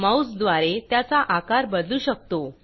माऊसद्वारे त्याचा आकार बदलू शकतो